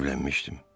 Evlənmişdim.